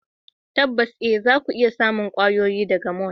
Tabbas eh zaku iya samun kwayoyi daga mall.